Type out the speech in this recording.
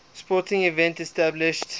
sporting events established